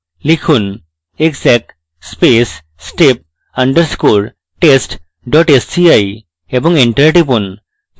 লিখুন: exec space step underscore test dot sci এবং enter টিপুন